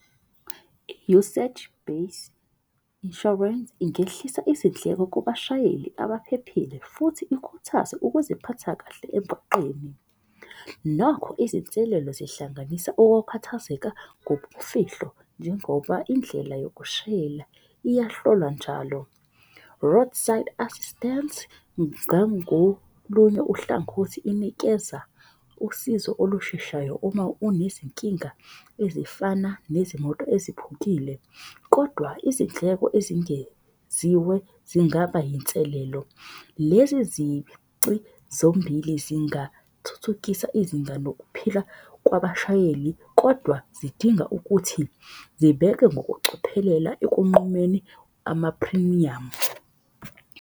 I-usage base insurance ingehlisa izindleko kubashayeli abaphephile futhi ikhuthaze ukuziphatha kahle emgwaqeni. Nakho izinselelo zihlanganisa okukhathazeka ngobumfihlo njengoba indlela yokushayela iyahlolwa njalo. Roadside assistance, ngangolunye uhlangothi inikeza usizo olusheshayo. Uma unezinkinga ezifana nezimoto ezikhuphukile. Kodwa izindleko ezingeziwe zingaba yinselelo. Lezi zici zombili zingathuthukisa izinga nokuphila kwabashayeli kodwa zidinga ukuthi zibeke ngokucophelela ekunqumeni amaphrimiyamu.